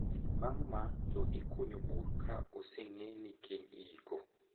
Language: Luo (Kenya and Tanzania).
Bang` ma to ikunyo bur ka oseng`e ni kiny iiko.